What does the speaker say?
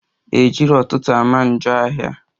Ejiro ụtụtụ ama njọ ahia